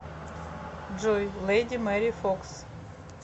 джой леди мэри фокс